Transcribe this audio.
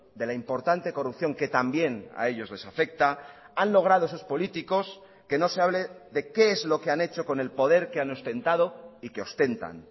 de la importante corrupción que también a ellos les afecta han logrado sus políticos que no se hable de qué es lo que han hecho con el poder que han ostentado y que ostentan